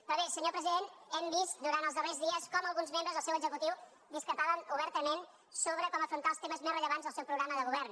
però bé senyor president hem vist durant els darrers dies com alguns membres del seu executiu discrepaven obertament sobre com afrontar els temes més rellevants del seu programa de govern